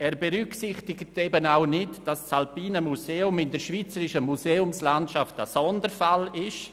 Er berücksichtigt auch nicht, dass das Alpine Museum in der schweizerischen Museumslandschaft einen Sonderfall darstellt.